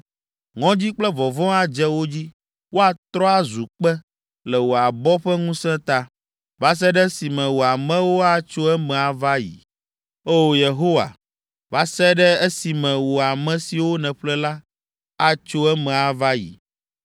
Ŋɔdzi kple vɔvɔ̃ adze wo dzi. Woatrɔ azu kpe, le wò abɔ ƒe ŋusẽ ta, va se ɖe esime wò amewo atso eme ava ayi. O, Yehowa, va se ɖe esime wò ame siwo nèƒle la, atso eme ava yi.